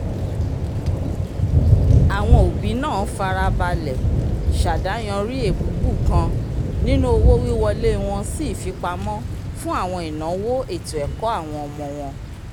awọn obi náà farabalẹ s'adayànri ébubu kàn nínú owo-wiwọle wọn si ifipamọ fun awọn inawo ètó-ẹkọ àwọn ọmọ wọn